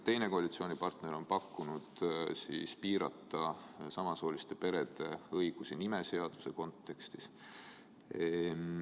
Teine koalitsioonipartner on pakkunud piirata samasooliste perede õigusi nimeseaduse kontekstis.